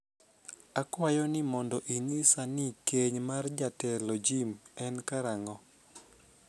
akwayo ni mondo inyisa ni keny mar Jatelo Jim en karango'